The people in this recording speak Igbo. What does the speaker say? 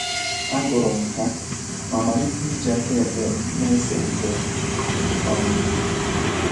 Agụrụ m ha ma malite iji aka ekpe m na - ese ihe. um